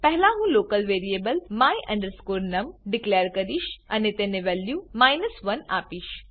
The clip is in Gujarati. પહેલા હું local variable my num declare કરીશ અને તેને વેલ્યુ 1 આપીશ